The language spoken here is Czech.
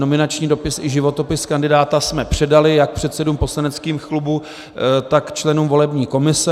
Nominační dopis i životopis kandidáta jsme předali jak předsedům poslaneckých klubů, tak členům volební komise.